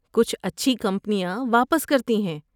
کچھ اچھی کمپنیاں واپس کرتی ہیں۔